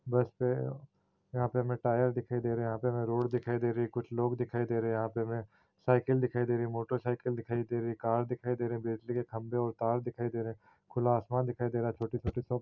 बस है यहाँ पे हमे टायर दिखाई दे रहा है यहाँ हमे रोड दिखाई दे रही है कुछ लोग दिखाई दे रहे हैं यहाँ पे हमे साइकिल दिखाई दे रही हैं मोटरसाइकिल दिखाई दे रही हैं कर दिखाई दे रहा हैं बिजली के खंभे और तार दिखाई दे रहा हैं खुला आसमान दिखाई दे रहा हैं छोटी छोटी --